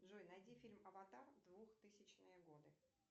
джой найди фильм аватар двухтысячные годы